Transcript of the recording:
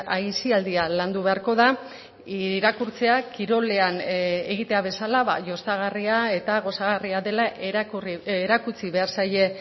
aisialdia landu beharko da irakurtzea kirolean egitea bezala jostagarria eta gozagarria dela erakutsi behar zaie